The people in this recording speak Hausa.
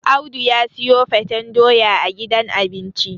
Audu ya siyo faten doya a gidan abinci